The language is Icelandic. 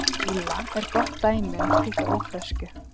Grýla er gott dæmi um slíka ófreskju.